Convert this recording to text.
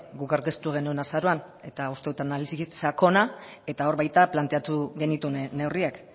guk aurkeztu genuen azaroan eta uste du analisirik sakona eta hor baita planteatu genituen neurriak